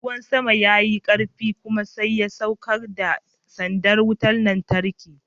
Ruwan sama ya yi karfi kuma sai ya saukar da sandar wutar lantarki.